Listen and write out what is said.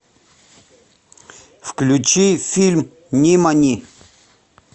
включи фильм нимани